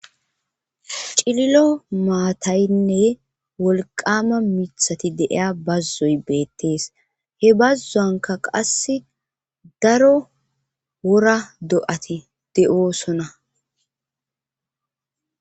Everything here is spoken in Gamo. cililo maataynne wolqama mithati deiya bazzoy beettees he bazzuanka qasse daro wora do7ati de7oosona